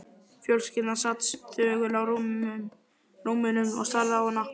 Fjölskyldan sat þögul á rúmunum og starði á hana.